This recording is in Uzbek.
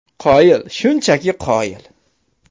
Qoyil, shunchaki qoyil!